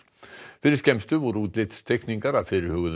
fyrir skemmstu voru útlitsteikningar af fyrirhuguðum